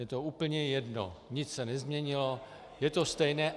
Je to úplně jedno, nic se nezměnilo, je to stejné.